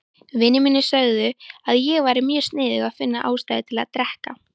Vinir mínir sögðu að ég væri mjög sniðug að finna ástæðu til að drekka.